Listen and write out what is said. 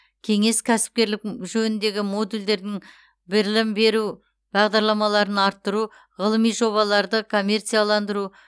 кеңес кәсіпкерлік жөніндегі модульдердің бірілім беру бағдарламаларын арттыру ғылыми жобаларды коммерцияландыру